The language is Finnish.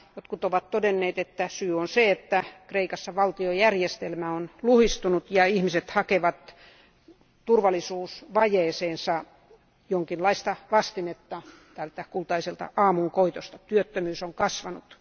Jotkut ovat todenneet, että syy on se, että Kreikassa valtiojärjestelmä on luhistunut ja ihmiset hakevat turvallisuusvajeeseensa jonkinlaista vastinetta tältä Kultaiselta aamunkoitolta, työttömyys on kasvanut.